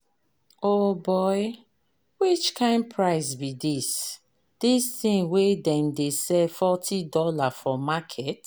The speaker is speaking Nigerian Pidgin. O'boy, which kind price be this? this thing wey them dey sell forty dollars for market.